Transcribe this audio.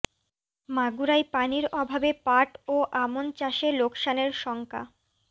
মাগুরায় পানির অভাবে পাট ও আমন চাষে লোকসানের শঙ্কা